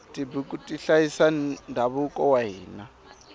tibuku ti hlayisa ndhavuko wa hina